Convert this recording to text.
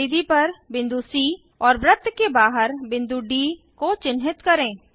परिधि पर बिंदु सी और वृत्त के बाहर बिंदु डी को चिन्हित करें